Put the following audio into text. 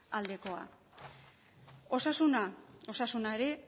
aldekoa osasuna osasuna ere